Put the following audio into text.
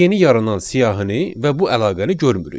Biz yeni yaranan siyahını və bu əlaqəni görmürük.